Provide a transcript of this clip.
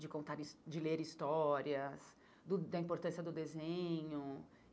de contar his de ler histórias, do da importância do desenho.